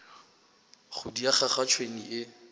go diega ga tšhwene e